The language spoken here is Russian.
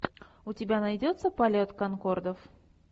у тебя найдется полет конкордов